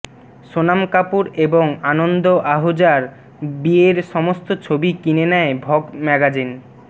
সোনাম কাপুর এবং আনন্দ আহুজার বিয়ের সমস্ত ছবি কিনে নেয় ভগ ম্যাগাজিন